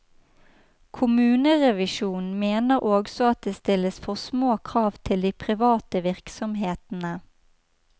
Kommunerevisjonen mener også at det stilles for små krav til de private virksomhetene.